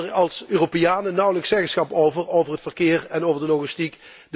En wij hebben er als Europeanen nauwelijks zeggenschap over, over het verkeer en over de logistiek.